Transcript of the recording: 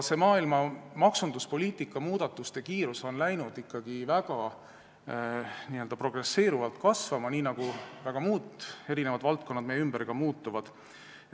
See maailma maksunduspoliitika muudatuste kiirus on hakanud ikkagi väga n-ö progresseeruvalt kasvama, nii nagu ka muud valdkonnad meie ümber muutuvad.